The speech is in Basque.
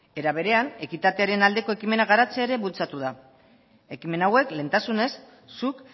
era berean ekitatearen aldeko ekimenak garatzea ere bultzatu da ekimen hauek lehentasunez zuk